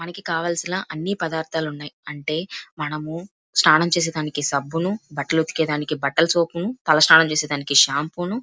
మనకి కావలసిన అన్ని పదార్దాలు ఉన్నాయి అంటే మనము స్నానం చేసేదానికి సబ్బును బట్టలు ఉతకేదానికి బట్టల సోపు ను తలస్నానం చేసేదానికి షాంపూ ను --